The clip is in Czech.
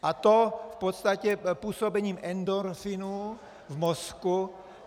A to v podstatě působením endorfinů v mozku.